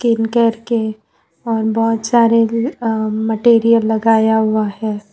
इन केयर के और बहुत सारे मटेरियल लगाया हुआ है।